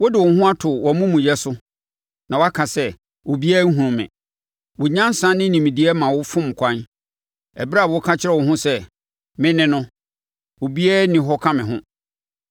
Wode wo ho ato wʼamumuyɛ so na waka sɛ, ‘Obiara nhunu me.’ Wo nyansa ne nimdeɛ ma wo fom kwan ɛberɛ a woka kyerɛ wo ho sɛ, ‘Me ne no, obiara nni hɔ ka me ho.’